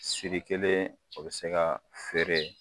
Siri kelen o bɛ se ka feere